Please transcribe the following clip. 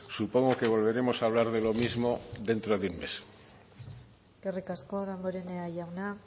supongo que volveremos a hablar de lo mismo dentro de un mes eskerrik asko damborenea jauna